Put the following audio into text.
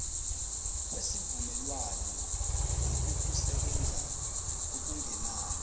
kwesivumelwano ngokokusebenza okungenalo